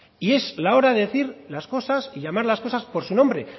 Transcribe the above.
y es la hora de decir las cosas y llamar las cosas por su nombre